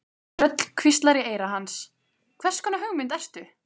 Rödd hvíslar í eyra hans: Hvers konar hugmynd ertu?